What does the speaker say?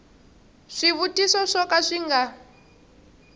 swivutiso swo ka swi nga